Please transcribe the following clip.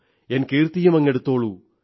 N കീർത്തിയുമങ്ങെടുത്തോളൂ